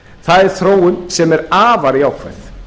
það er þróun sem er afar jákvæð